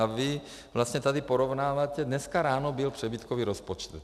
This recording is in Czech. A vy vlastně tady porovnáváte - dneska ráno byl přebytkový rozpočet.